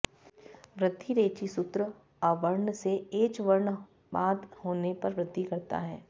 वृद्धिरेचि सूत्र अवर्ण से एच् वर्ण बाद होने पर वृद्धि करता है